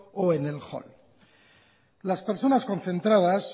o en el hall las personas concentradas